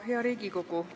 Hea Riigikogu!